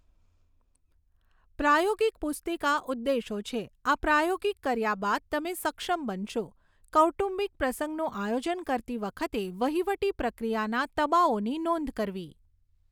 પ્રાયોગિક પુસ્તિકા ઉદ્દેશો છે, આ પ્રાયોગિક કર્યા બાદ તમે સક્ષમ બનશો, કૌટુંબિક પ્રસંગનું આયોજન કરતી વખતે વહીવટી પ્રક્રિયાના તબાઓની નોંધ કરવી.